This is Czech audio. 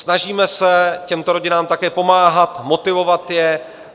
Snažíme se těmto rodinám také pomáhat, motivovat je.